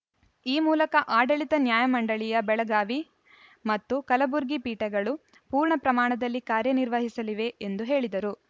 ಈ ಮೂಲಕ ಆಡಳಿತ ನ್ಯಾಯಮಂಡಳಿಯ ಬೆಳಗಾವಿ ಮತ್ತು ಕಲಬುರಗಿ ಪೀಠಗಳು ಪೂರ್ಣ ಪ್ರಮಾಣದಲ್ಲಿ ಕಾರ್ಯನಿರ್ವಹಿಸಲಿವೆ ಎಂದು ಹೇಳಿದರು